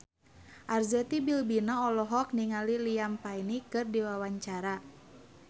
Arzetti Bilbina olohok ningali Liam Payne keur diwawancara